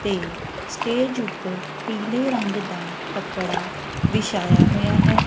ਤੇ ਸਟੇਜ ਉਪਰ ਪੀਲੇ ਰੰਗ ਦਾ ਕੱਪੜਾ ਵਿਛਾਇਆ ਹੋਇਆ ਹੈ। ਤੇ ਸਟੇਜ ਉਪਰ ਪੀਲੇ ਰੰਗ ਦਾ ਕੱਪੜਾ ਵਿਛਾਇਆ ਹੋਇਆ ਹੈ।